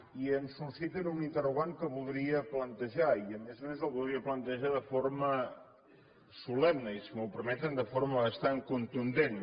i ens susciten un interrogant que voldria plantejar i a més a més el voldria plantejar de forma solemne i si m’ho permeten de forma bastant contundent